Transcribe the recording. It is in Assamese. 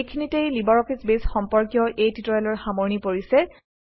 এইখিনিতেই লিবাৰঅফিছ বেছ সম্পৰ্কীয় এই টিউটৰিয়েলৰ সামৰণি পৰিছে